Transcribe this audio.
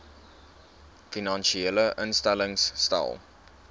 finansiële instellings stel